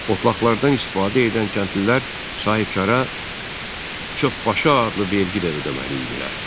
Otlaqlardan istifadə edən kəndlilər sahibkara çöpbaşı adlı vergi də ödəməli idilər.